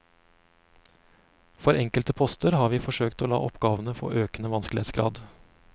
For enkelte poster har vi forsøkt å la oppgavene få økende vanskelighetsgrad.